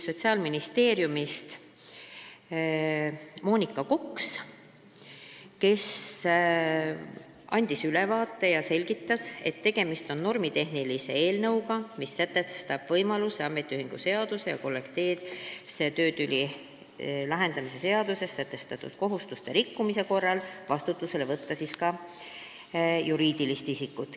Sotsiaalministeeriumist oli kohal Monika Koks, kes andis teemast ülevaate ja selgitas, et tegemist on normitehnilise eelnõuga, mis sätestab võimaluse ametiühingu seaduses ja kollektiivse töötüli lahendamise seaduses sätestatud kohustuste rikkumise korral vastutusele võtta ka juriidilist isikut.